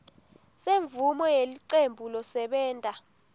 semvumo yelicembu losebenta